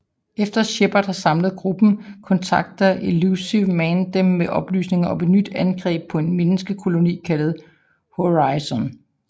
Efter Shepard har samlet gruppen kontakter Illusive Man dem med oplysninger om et nyt angreb på en menneskekoloni kaldet Horizon